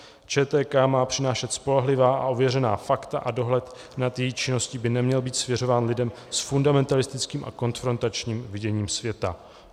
ČTK má přinášet spolehlivá a ověřená fakta a dohled nad její činností by neměl být svěřován lidem s fundamentalistickým a konfrontačním viděním světa.